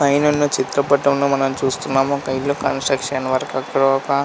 పైనున్న చిత్రపటంలో మనం చూస్తున్నాము ఒక ఇల్లు కన్స్ట్రక్షన్ వర్క్ . అక్కడ ఒక--